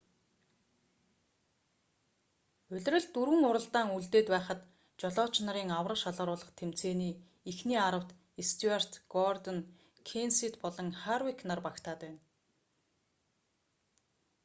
улиралд дөрвөн уралдаан үлдээд байхад жолооч нарын аварга шалгаруулах тэмцээний эхний аравт стьюарт гордон кенсет болон харвик нар багтаад байна